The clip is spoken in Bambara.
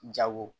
Jago